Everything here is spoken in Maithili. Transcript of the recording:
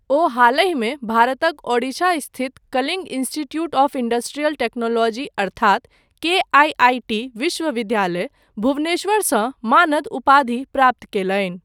ओ हालहि मे भारतक ओडिशा स्थित Kalinga Institute of Industrial Technology अर्थात केआईआईटी विश्वविद्यालय, भुवनेश्वरसँ मानद उपाधि प्राप्त कयलनि।